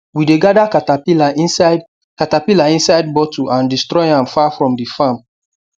we dey gather caterpillar inside caterpillar inside bottle and destroy am far from the farm